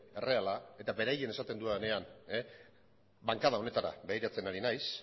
erreala eta beraiek esaten dudanean bankada honetara begiratzen ari naiz